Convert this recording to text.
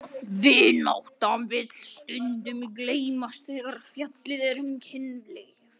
Vináttan vill stundum gleymast þegar fjallað er um kynlíf.